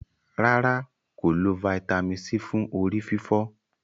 ràrá kò lọ Vitamin c fún orí-fífọ́.